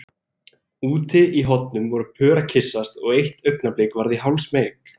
Úti í hornum voru pör að kyssast og eitt augnablik varð ég hálfsmeyk.